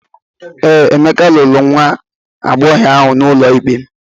Ee, Emeka lụrụ nwa agbọghọ ahụ n’ụlọ ikpe.